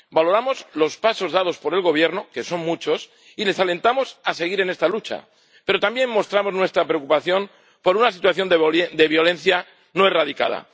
Valoramos los pasos dados por el Gobierno —que son muchos— y les alentamos a seguir en esta lucha, pero también mostramos nuestra preocupación por una situación de violencia no erradicada.